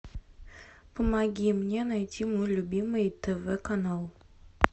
помоги мне найти мой любимый тв канал